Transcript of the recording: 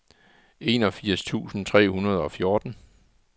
enogfirs tusind tre hundrede og fjorten